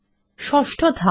ষষ্ঠ ধাপ